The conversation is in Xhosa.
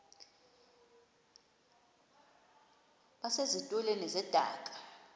base zitulmeni zedaka